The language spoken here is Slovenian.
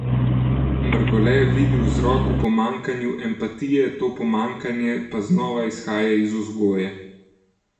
Mrgole vidi vzrok v pomanjkanju empatije, to pomanjkanje pa znova izhaja iz vzgoje.